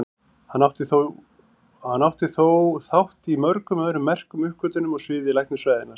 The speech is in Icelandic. Hann átti þó þátt í mörgum öðrum merkum uppgötvunum á sviði læknisfræðinnar.